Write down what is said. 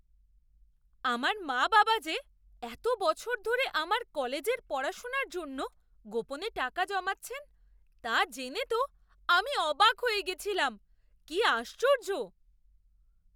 আমার মা বাবা যে এত বছর ধরে আমার কলেজের পড়াশোনার জন্য গোপনে টাকা জমাচ্ছেন তা জেনে তো আমি অবাক হয়ে গেছিলাম। কি আশ্চর্য!